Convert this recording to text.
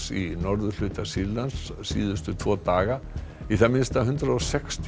í norðurhluta Sýrlands síðustu tvo daga í það minnsta hundrað og sextíu